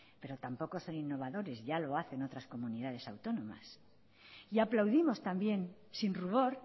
pero tampoco es ser innovadores ya lo hacen otras comunidades autónomas y aplaudimos también sin rubor